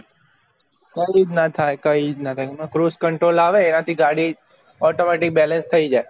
કયી જ ના થાય કયી જ ના થાય એમાં cruise control આવે એના થી ગાડી automatic balance થયી જાય